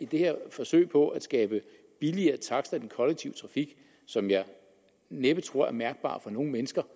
det her forsøg på at skabe billigere takster i den kollektive trafik som jeg næppe tror bliver mærkbart for nogen mennesker